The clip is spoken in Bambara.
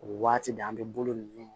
O waati de an bɛ bolo ninnu